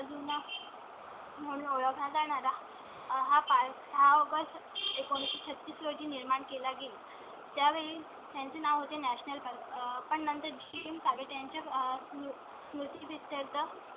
म्हणता येणार हा पाच ऑगस्ट एकोणावीस छत्तीस रोजी निर्माण केला गेला त्यावेळी त्यांचे नाव होते national पण नंतर ची चाळ त्यांच्या स्मृती picture चं